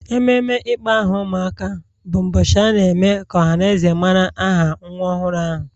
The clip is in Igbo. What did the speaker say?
Ememe ịkpọ aha ụmụaka bụ ụbọchị a na-eme ka ọha na eze mara aha nwa ọhụrụ ahụ